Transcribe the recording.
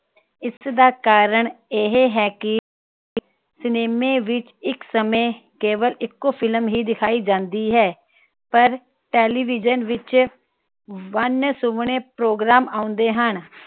ਇਸ ਦਾ ਕਰਨ ਇਹ ਹੈ ਕਿ cinema ਵਿਚ ਇਕ ਸਮੇ ਕੇਵਲ ਇਕੋ film ਹੀ ਦਿਖਾਈ ਜਾਂਦੀ ਹੈ ਪਰ television ਵਿਚ ਵੰਨ ਸੁਵੰਨੇ program ਆਉਂਦੇ ਹਨ